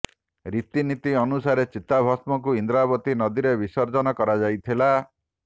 ରୀତି ନୀତି ଅନୁସାରେ ଚିତାଭସ୍ମକୁ ଇନ୍ଦ୍ରାବତୀ ନଦୀରେ ବିସର୍ଜନ କରାଯାଇଥିଲା